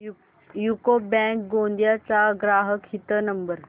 UCO bank Gondia चा ग्राहक हित नंबर